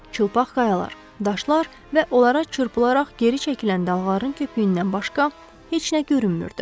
Çılpaq qayalar, daşlar və onlara çırpılaraq geri çəkilən dalğaların köpüyündən başqa heç nə görünmürdü.